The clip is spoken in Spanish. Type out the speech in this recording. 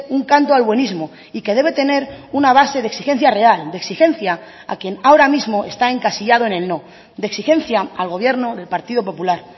un canto al buenismo y que debe tener una base de exigencia real de exigencia a quien ahora mismo está encasillado en el no de exigencia al gobierno del partido popular